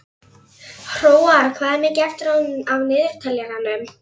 Hróar, hvað er mikið eftir af niðurteljaranum?